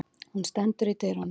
Hún stendur í dyrunum.